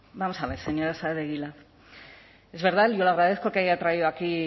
vamos a ver señora saez de egilaz es verdad yo le agradezco que haya traído aquí